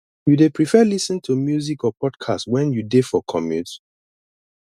you dey prefer lis ten to music or podcast when you dey for commute